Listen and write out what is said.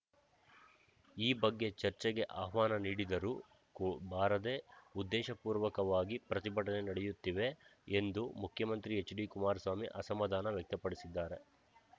ಈ ಬಗ್ಗೆ ಚರ್ಚೆಗೆ ಆಹ್ವಾನ ನೀಡಿದರೂ ಒ ಬಾರದೆ ಉದ್ದೇಶಪೂರ್ವಕವಾಗಿ ಪ್ರತಿಭಟನೆ ನಡೆಯುತ್ತಿವೆ ಎಂದು ಮುಖ್ಯಮಂತ್ರಿ ಎಚ್‌ಡಿ ಕುಮಾರಸ್ವಾಮಿ ಅಸಮಾಧಾನ ವ್ಯಕ್ತಪಡಿಸಿದ್ದಾರೆ